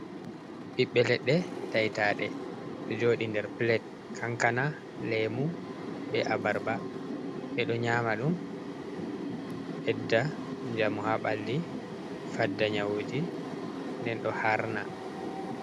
Ɓiɓɓe leɗɗe ta'i taɗe ɗo joɗi nder plate kankana lemu, be abarba. Ɓe ɗo nyama ɗum ɓedda njamu ha ɓalli fadda nyawuji nden ɗo harna.